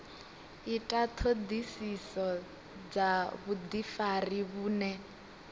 ita ṱhoḓisiso dza vhuḓifari vhune